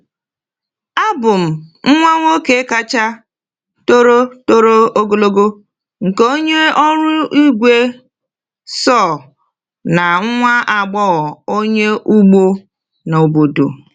Abụ m nwa nwoke kacha toro toro ogologo nke onye ọrụ igwe saw na nwa agbọghọ onye ugbo n’obodo.